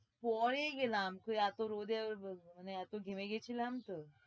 পরে গেলাম, তো এতো রোদে মানে এতো ঘেমে গেছিলাম তো।